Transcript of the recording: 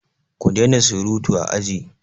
Ku daina surutu a aji!